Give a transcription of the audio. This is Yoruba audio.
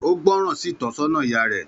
Ó gbọ́ràn sí ìtọ́sọ́nà ìyá rẹ